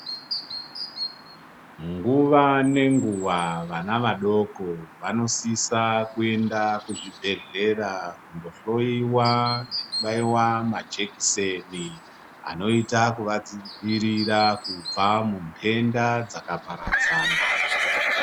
Nguva nenguva vana vadoko vanosisa kuenda kuzvibhedhlera kundohloiwa nekubaiva majekiseni. Anoita kuvadzivirira kubva munhenda dzakaparadzana.